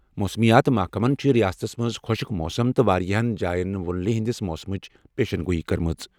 موسمیات محکمَن چھِ رِیاستَس منٛز خۄشٕک موسم تہٕ واریٛاہَن جایَن پٮ۪ٹھ وۄنلہِ ہِنٛدِس موسمٕچ پیشین گوئی کٔرمٕژ۔